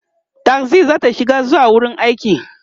taxi zata shiga zuwa wurin aiki